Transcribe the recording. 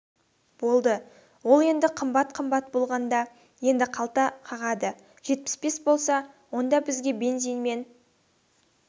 болды ол енді қымбат қымбат болғанда енді қалта қағады жетпіс бес болса онда бізге бензинмен